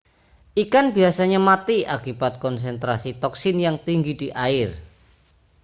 ikan biasanya mati akibat konsentrasi toksin yang tinggi di air